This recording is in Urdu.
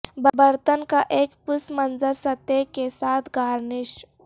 برتن کا ایک پس منظر سطح کے ساتھ گارنش